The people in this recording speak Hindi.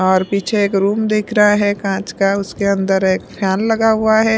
और पीछे एक रूम देख रहा है काँच का उसके अंदर एक फैन लगा हुआ है।